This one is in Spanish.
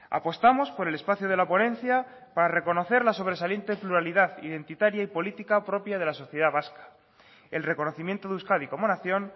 apostamos por el espacio de la ponencia para reconocer la sobresaliente pluralidad identitaria y política propia de la sociedad vasca el reconocimiento de euskadi como nación